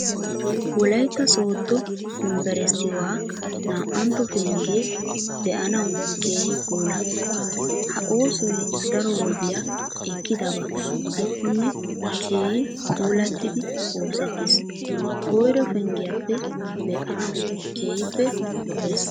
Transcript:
Wolaytta sooddo yunbberesttiua naa''ntto penggee be'anawu keehi puula. Ha oosoy daro wodiya ekkidabaa gidikkonne keehi puulattidi oosettiis. Koyro penggiyappe be'anawu keehippe lo'ees.